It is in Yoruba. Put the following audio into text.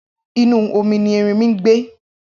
Inú omi ni ẹrinmi ngbé